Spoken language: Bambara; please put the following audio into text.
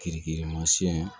Kiriki kirimasiyɛn